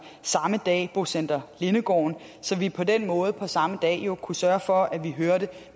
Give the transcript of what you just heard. samme dag bocenter lindegården så vi på den måde på samme dag kunne sørge for at få hørt